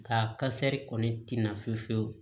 Nka kasɛri kɔni tɛna fiyewu fiyewu